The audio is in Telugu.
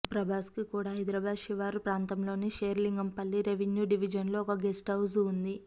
ప్రభాస్కు కూడా హైదరాబాద్ శివారు ప్రాంతంలోని శేరిలింగంపల్లి రెవిన్యూ డెవిజన్లో ఒక గెస్ట్ హౌస్ ఉంది